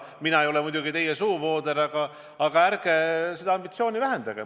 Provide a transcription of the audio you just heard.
Mina ei ole muidugi teie suuvooder, aga ärge seda ambitsiooni vähendage.